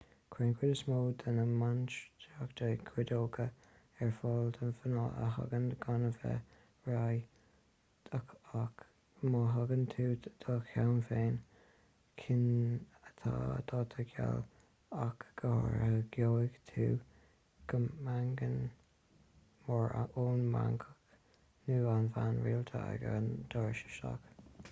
cuireann cuid is mó de na mainistreacha cídeoga ar fáil do mhná a thagann gan a bheith réidh ach má thugann tú do cheann féin cinn atá daite geal ach go háirithe gheobhaidh tú meangadh mór ón mhanach nó an bhean rialta ag an doras isteach